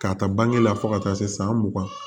K'a ta bange la fo ka taa se san mugan ma